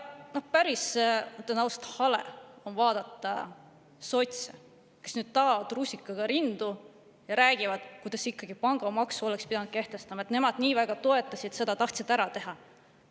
Ütlen ausalt, päris hale on vaadata sotse, kes nüüd taovad rusikaga vastu rinda ja räägivad, et ikkagi oleks pidanud pangamaksu kehtestama, et nemad nii väga toetasid seda, tahtsid ära teha.